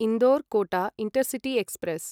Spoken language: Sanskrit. Indore Kota intercity express